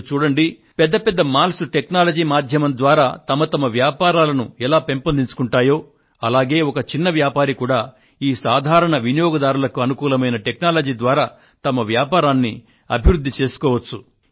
మీరు చూడండి పెద్ద పెద్ద మాల్స్ టెక్నాలజీ మాధ్యమం ద్వారా వాటి వ్యాపారాలను ఎలా పెంపొందించుకొంటాయో అలాగే ఒక చిన్న వ్యాపారి కూడా ఈ సాధారణ వినియోగదారులకు అనుకూలమైన టెక్నాలజీ ద్వారా తన వ్యాపారాన్ని అభివృద్ధి చేసుకోవచ్చు